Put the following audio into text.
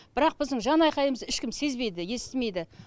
бірақ біздің жанайқайымызды ешкім сезбейді естімейді